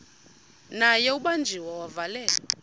naye ubanjiwe wavalelwa